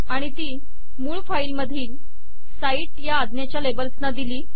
आणि ती मूळ फाईल मधील साइट या अज्ञेच्या लेबल्स ला दिली